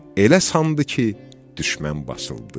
Elə sandı ki, düşmən basıldı.